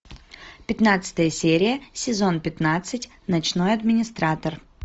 пятнадцатая серия сезон пятнадцать ночной администратор